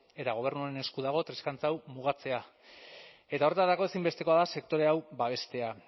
eta gobernuaren esku dago triskantza hau mugatzea eta horretarako ezinbestekoa da sektore hau babestea